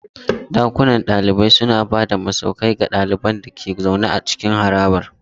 Ɗakunan kwanan ɗalibai suna ba da masauki ga ɗaliban da ke zaune a cikin harabar.